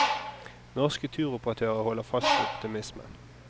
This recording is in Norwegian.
Norske turoperatører holder fast på optimismen.